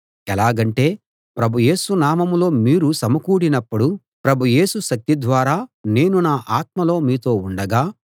ఎలాగంటే ప్రభు యేసు నామంలో మీరు సమకూడినప్పుడు ప్రభు యేసు శక్తి ద్వారా నేను నా ఆత్మలో మీతో ఉండగా